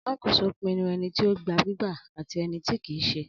Alakoso pinnu ẹniti o gba gbigba ati ẹniti kii ṣe.